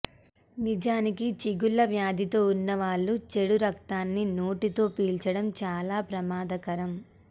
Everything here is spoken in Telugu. నిజానికి చిగుళ్లవ్యాధితో వున్నవాళ్లు చెడు రక్తాన్ని నోటితో పీల్చడం చాలా ప్రమాదకరం